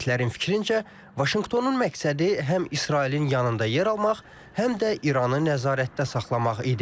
Ekspertlərin fikrincə, Vaşinqtonun məqsədi həm İsrailin yanında yer almaq, həm də İranı nəzarətdə saxlamaq idi.